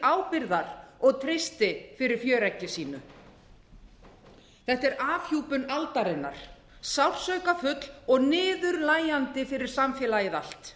ábyrgðar og treysti fyrir fjöreggi sínu þetta er afhjúpun aldarinnar sársaukafull og niðurlægjandi fyrir samfélagið allt